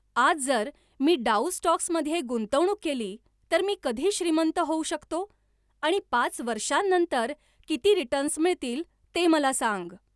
आज जर मी डाऊ स्टॉक्समध्ये गुंतवणूक केली तर मी कधी श्रीमंत होऊ शकतो आणि पाच वर्षांनंतर किती रिटर्न्स मिळतील ते मला सांग